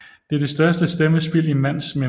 Det er det største stemmespild i mands minde